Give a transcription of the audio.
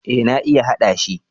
Eh na iya hada shi.